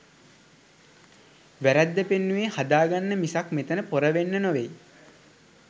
වැරැද්ද පෙන්නුවේ හදාගන්න මිසක් මෙතන පොර වෙන්න‍ නෙවෙයි.